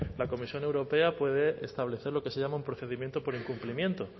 la comisión europea puede establecer lo que se llama un procedimiento por incumplimiento